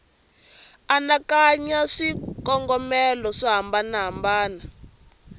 anakanya hi swikongomelo swo hambanahambana